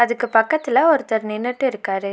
இதுக்கு பக்கத்துல ஒருத்தர் நின்னுட்டு இருக்காரு.